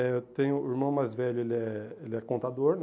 Eh eu tenho um irmão mais velho, ele é ele é contador, né?